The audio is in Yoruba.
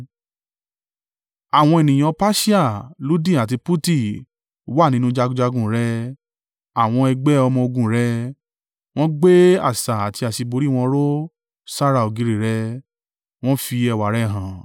“ ‘Àwọn ènìyàn Persia, Ludi àti Puti wà nínú jagunjagun rẹ àwọn ẹgbẹ́ ọmọ-ogun rẹ. Wọ́n gbé asà àti àṣíborí wọn ró sára ògiri rẹ, wọn fi ẹwà rẹ hàn.